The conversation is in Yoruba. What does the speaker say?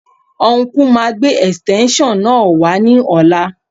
Ọnkú máa gbé ẹ̀sìtẹ́ńṣọ̀n náà wá ní ọ̀la